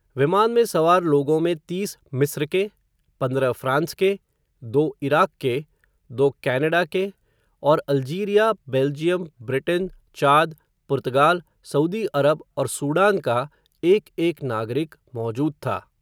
विमान में सवार लोगों में तीस मिस्र के, पंद्रह फ़्रांस के, दो इराक के, दो कॅनाडा के, और अल्जीरिया, बेल्जियम, ब्रिटेन, चाद, पुर्तगाल, सऊदी अरब, और सूडान का एक एक नागरिक, मौजूद था.